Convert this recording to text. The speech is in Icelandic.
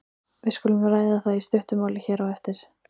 Við skulum ræða það í stuttu máli hér á eftir.